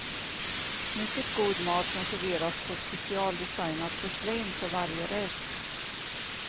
Mycket god mat som serveras på specialdesignat porslin för varje rätt.